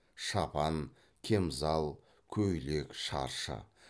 шапан кемзал көйлек шаршы